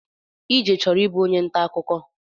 Ije chọrọ ịbụ onye ntaakụkọ